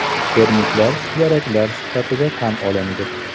Termitlar suvaraklar sifatida tan olindi.